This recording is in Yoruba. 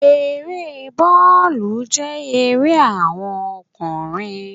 Eré bóòlù jẹ́ ère àwon okùnrin